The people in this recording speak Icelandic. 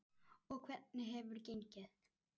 Og hvernig hefur gengið?